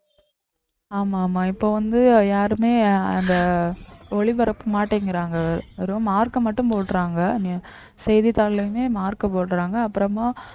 ஆமா ஆமா இப்ப வந்து யாருமே அந்த ஒளிபரப்ப மாட்டேங்கறாங்க வெறும் mark அ மட்டும் போடறாங்க செய்தித்தாள்லயுமே mark போடுறாங்க அப்புறமா